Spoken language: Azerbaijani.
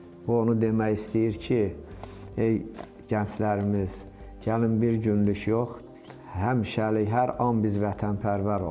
O onu demək istəyir ki, ey gənclərimiz, gəlin bir günlük yox, həmişəlik hər an biz vətənpərvər olaq.